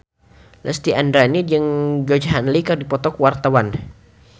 Lesti Andryani jeung Georgie Henley keur dipoto ku wartawan